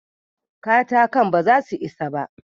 Katakan ba za su isa ba.